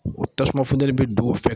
O tasuma funtɛni bi don o fɛ.